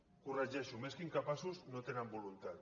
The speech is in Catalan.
ho corregeixo més que incapaços no tenen voluntat